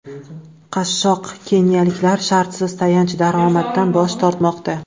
Qashshoq keniyaliklar shartsiz tayanch daromaddan bosh tortmoqda.